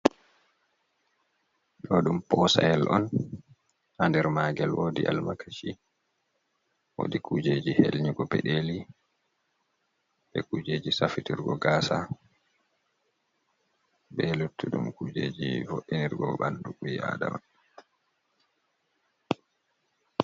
Ɗo ɗum posayel on, ha nder magel wodi almakashi, wodi kujeji helnyugo peɗeli, be kujeji safitirgo gasa, be luttuɗum kujeji vo'inirgo ɓandu ɓi Adama.